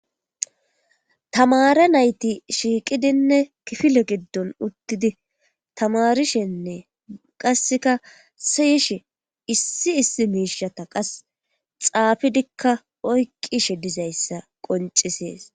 tamare nayti shiiqidinne kifile giddon uttidi tamarishenne qasseka siyishe issi issi miishata qas xaafidikka oyqqishe dizayssa qoncisees